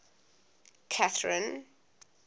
catherine